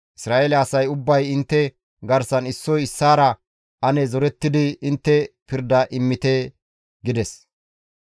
Isra7eele asay ubbay intte garsan issoy issaara ane zorettidi intte pirda immite» gides.